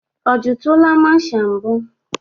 O jitụla masha mbụ?